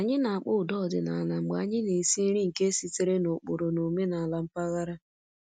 Anyị na-akpọ ụda ọdịnala mgbe anyị na-esi nri nke sitere n'ụkpụrụ na omenala mpaghara